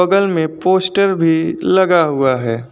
बगल में पोस्टर भी लगा हुआ है।